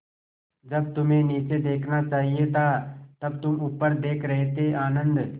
जब तुम्हें नीचे देखना चाहिए था तब तुम ऊपर देख रहे थे आनन्द